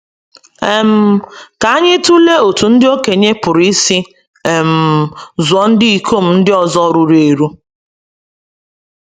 um Ka anyị tụlee otú ndị okenye pụrụ isi um zụọ ndị ikom ndị ọzọ ruru eru.